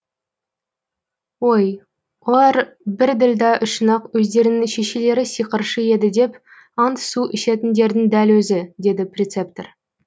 ой олар бір ділда үшін ақ өздерінің шешелері сиқыршы еді деп ант су ішетіндердің дәл өзі деді прецептор